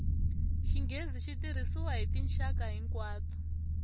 xinghezi xi tirhisiwa hi tinxaka hinkwato